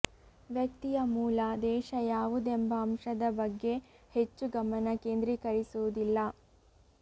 ವ್ಯಕ್ತಿಯ ಮೂಲ ದೇಶ ಯಾವುದೆಂಬ ಅಂಶದ ಬಗ್ಗೆ ಹೆಚ್ಚು ಗಮನ ಕೇಂದ್ರೀಕರಿಸುವುದಿಲ್ಲ